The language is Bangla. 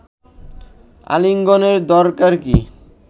আলিঙ্গনের দরকার কি